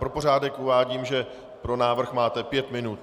Pro pořádek uvádím, že pro návrh máte pět minut.